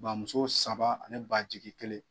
Bamuso saba ani ba jigi kelen.